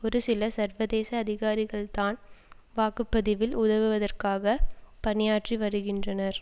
ஒரு சில சர்வதேச அதிகாரிகள்தான் வாக்கு பதிவில் உதவுவதற்காக பணியாற்றி வருகின்றனர்